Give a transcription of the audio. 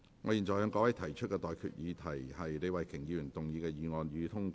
我現在向各位提出的待決議題是：李慧琼議員動議的議案，予以通過。